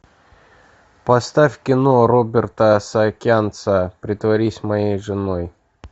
поставь кино роберта саакянца притворись моей женой